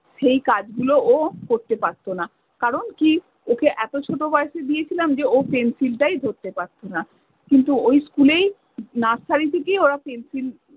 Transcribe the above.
সেই কাজ গুলো ও করতে পারতো না, কারণ কী ওকে এতো ছোট বয়সে দিয়েছিলাম যে ও pencil টাই ধরতে পারতো না। কিন্তু ওই school এই nursery থেকেই pencil